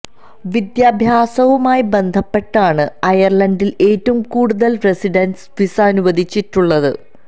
വിദ്യാഭ്യാസവുമായി ബന്ധപ്പെട്ടാണ് അയർലണ്ടിൽ ഏറ്റവും കൂടുതൽ റസിഡൻസ് വിസ അനുവദിച്ചിട്ടുള്ളത്